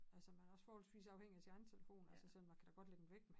Altså man er også forholdsvis afhængig af sin egen telefon altså sådan man kan da godt lægge den væk